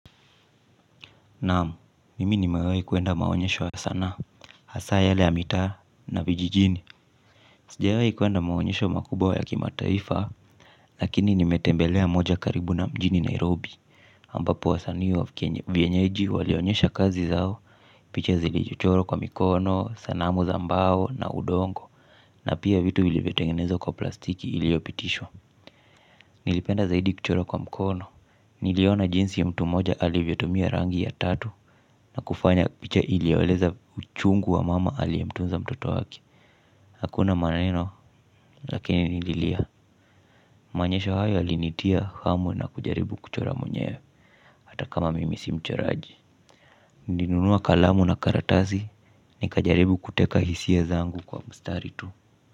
Naamu, mimi nimewehi kuenda maonyesho ya sanaa, hasa yale ya mitaa na vijijini. Sijawahi kuenda maonyesho makubawa ya kimataifa. Lakini nimetembelea moja karibu na mjini Nairobi Ambapo wasanii wa vienyeji walionyesha kazi zao. Picha zilijichoro kwa mikono, sanamu za mbao na udongo. Na pia vitu vilivyotengenezwa kwa plastiki iliopitishwa. Nilipenda zaidi kuchoro kwa mikono. Niliona jinsi mtu mmoja alivyotumia rangi ya tatu. Na kufanya picha ili aweleza uchungu wa mama aliyemtunza mtoto wake. Hakuna maneno lakini nililia. Manyesho hayo yalinitia hamwu na kujaribu kuchora mwenye. Hata kama mimi si mchoraji. Nilinunua kalamu na karatazi. Nikajaribu kuteka hisia zangu kwa mstari tu.